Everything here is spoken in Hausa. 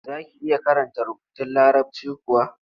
Za ki iya karanta rubutun Larabci kuwa?